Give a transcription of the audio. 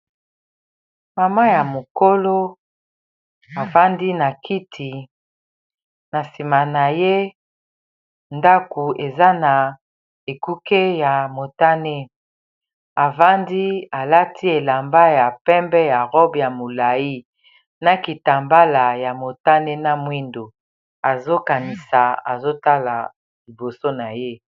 mama ya mokolo avandi na kiti na nsima na ye ndaku eza na ekuke ya motane avandi alati elamba ya pembe ya robe ya molai na kitambala ya motane na mwindo azokanisa azotala liboso na ye